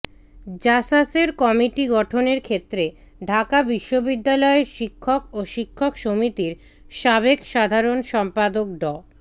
জাসাসের committee গঠনের ক্ষেত্রে ঢাকা বিশ্ববিদ্যালয়ের শিক্ষক ও শিক্ষক সমিতির সাবেক সাধারণ সম্পাদক ড